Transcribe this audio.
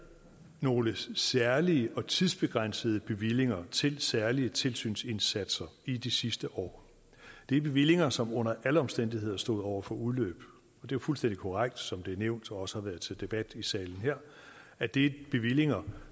nogle særlige og tidsbegrænsede bevillinger til særlige tilsynsindsatser i de sidste år det er bevillinger som under alle omstændigheder stod over for udløb det er fuldstændig korrekt som det er blevet nævnt og også har været til debat i salen her at det bevillinger